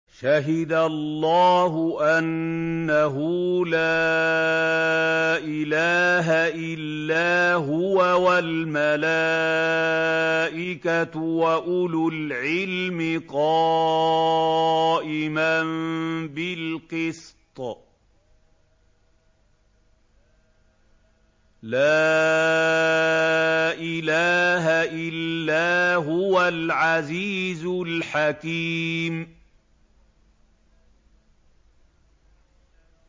شَهِدَ اللَّهُ أَنَّهُ لَا إِلَٰهَ إِلَّا هُوَ وَالْمَلَائِكَةُ وَأُولُو الْعِلْمِ قَائِمًا بِالْقِسْطِ ۚ لَا إِلَٰهَ إِلَّا هُوَ الْعَزِيزُ الْحَكِيمُ